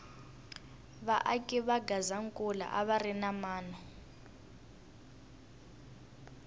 va aki va gazankula a va ri na mano